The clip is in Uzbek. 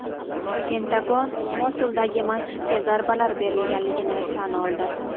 Pentagon Mosuldagi masjidga zarbalar berilganligini tan oldi.